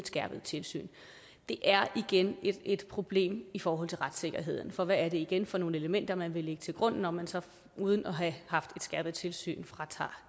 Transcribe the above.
skærpet tilsyn det er igen et problem i forhold til retssikkerheden for hvad er det igen for nogle elementer man vil lægge til grund når man så uden at have haft et skærpet tilsyn fratager